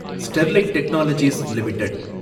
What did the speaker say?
Sterlite Technologies limited